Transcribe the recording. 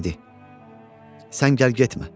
Dedi: "Sən gəl getmə.